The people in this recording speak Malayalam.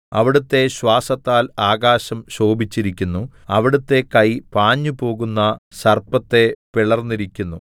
അവിടുത്തെ ശ്വാസത്താൽ ആകാശം ശോഭിച്ചിരിക്കുന്നു അവിടുത്തെ കൈ പാഞ്ഞുപോകുന്ന സർപ്പത്തെ പിളർന്നിരിക്കുന്നു